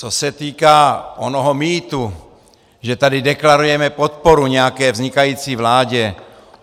Co se týká onoho mýtu, že tady deklarujeme podporu nějaké vznikající vládě.